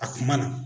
A kuma na